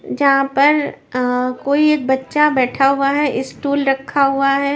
यहां पर अह कोई एक बच्चा बैठा हुआ है स्टूल रखा हुआ है।